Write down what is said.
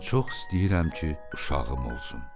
Mən çox istəyirəm ki, uşağım olsun.